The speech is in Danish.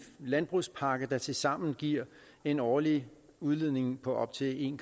landbrugspakke der tilsammen giver en årlig udledning på op til en